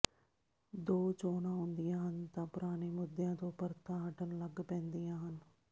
ਦੋਂ ਚੋਣਾਂ ਆਉਂਦੀਆਂ ਹਨ ਤਾਂ ਪੁਰਾਣੇ ਮੁੱਦਿਆਂ ਤੋਂ ਪਰਤਾਂ ਹਟਣ ਲੱਗ ਪੈਂਦੀਆਂ ਹਨ